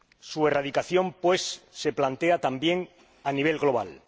Su erradicación, pues, se plantea también a nivel global.